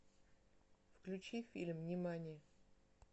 включи фильм нимани